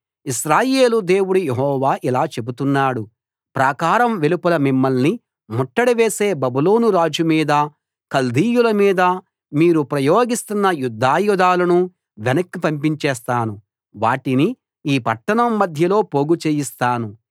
ఇశ్రాయేలు దేవుడు యెహోవా ఇలా చెబుతున్నాడు ప్రాకారం వెలుపల మిమ్మల్ని ముట్టడి వేసే బబులోను రాజు మీద కల్దీయుల మీద మీరు ప్రయోగిస్తున్న యుద్దాయుధాలను వెనక్కి పంపించేస్తాను వాటిని ఈ పట్టణం మధ్యలో పోగుచేయిస్తాను